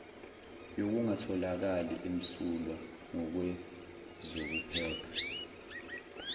yokungatholakali emsulwa ngokwezokuphepha